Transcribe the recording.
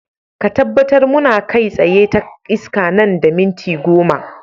Ka tabbatar muna kai tsaye ta iska nan da minti goma.